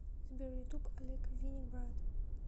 сбер ютуб олег винник брат